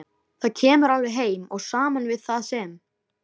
Það kemur alveg heim og saman við það sem